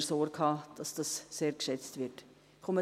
Dazu, dass sie sehr geschätzt wird, wollen wir Sorge tragen.